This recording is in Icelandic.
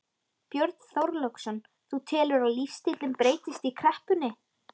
Björn Þorláksson: Þú telur að lífstíllinn breytist í kreppunni?